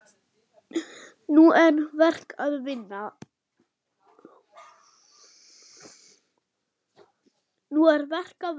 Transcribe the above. Nú er verk að vinna.